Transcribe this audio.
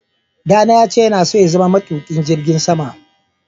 Ɗa na ya ce yana son zama matuƙin jirgin sama.